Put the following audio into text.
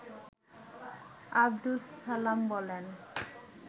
আব্দুস সালাম বলেন